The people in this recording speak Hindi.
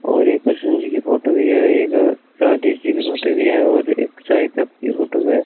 और एक कृष्ण जी की फोटो भी है एक राधे जी की फोटो भी है और एक चाय कप की फोटो है।